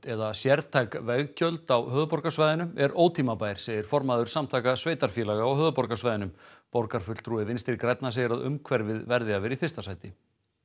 eða sértæk veggjöld á höfuðborgarsvæðinu er ótímabær segir formaður Samtaka sveitarfélaga á höfuðborgarsvæðinu borgarfulltrúi Vinstri grænna segir að umhverfið verði að vera í fyrsta sæti